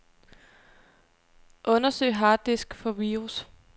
Undersøg harddisk for virus.